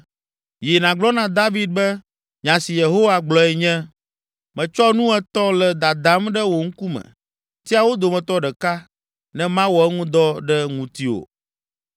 “Yi, nàgblɔ na David be, ‘Nya si Yehowa gblɔe nye: Metsɔ nu etɔ̃ le dadam ɖe wò ŋkume. Tia wo dometɔ ɖeka ne mawɔ eŋu dɔ ɖe ŋutiwò.’ ”